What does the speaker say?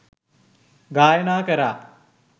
ගායනා කරා.